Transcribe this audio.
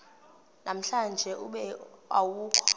namhlanje ube awukho